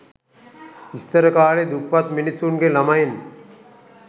ඉස්සර කාලෙ දුප්පත් මිනිස්සුන්ගෙ ලමයින්